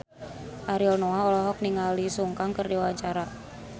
Ariel Noah olohok ningali Sun Kang keur diwawancara